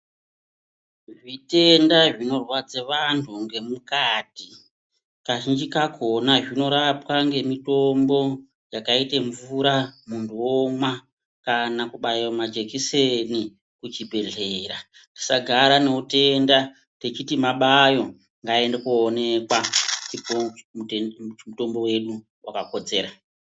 Zvitenda zvinorwadza vantu ngemukati kazhinji kakona zvinorapwa ngemutombo yakaite mvura muntu womwa kana kubaiwa majekiseni kuzvibhedhlera tisagara nehuyenda tichiti mabayo ngatiende kunoonekwa tipiwe mutombo wedu wakakodzera.